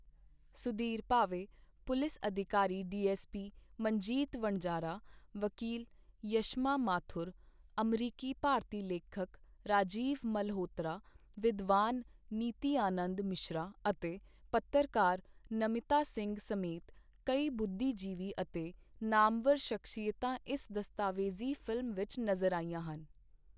Sudhir Bhave, police ਅਧਿਕਾਰੀ DSP Manjit Vanzara, ਵਕੀਲ ਯਸ਼ਮਾ ਮਾਥੁਰ, ਅਮਰੀਕੀ ਭਾਰਤੀ ਲੇਖਕ ਰਾਜੀਵ ਮਲਹੋਤਰਾ, ਵਿਦਵਾਨ ਨਿਤਿਆਨੰਦ ਮਿਸ਼ਰਾ ਅਤੇ ਪੱਤਰਕਾਰ ਨਮਿਤਾ ਸਿੰਘ ਸਮੇਤ ਕਈ ਬੁੱਧੀਜੀਵੀ ਅਤੇ ਨਾਮਵਰ ਸ਼ਖਸੀਅਤਾਂ ਇਸ ਦਸਤਾਵੇਜ਼ੀ ਫਿਲਮ ਵਿੱਚ ਨਜ਼ਰ ਆਈਆਂ ਹਨ।